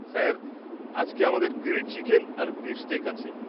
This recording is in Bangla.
স্যার, আজকে আমাদের গ্রিল্ড চিকেন আর বিফ স্টেক আছে।